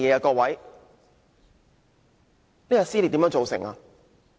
各位，這撕裂是如何造成的呢？